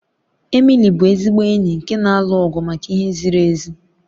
Emily bụ ezigbo enyi nke na-alụ ọgụ maka ihe ziri ezi.